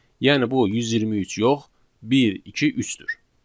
Yəni bu 123 yox, 1 2 3-dür.